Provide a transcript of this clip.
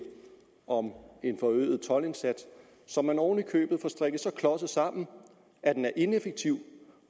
om en forøget toldindsats som man oven i købet får strikket så klodset sammen at den er ineffektiv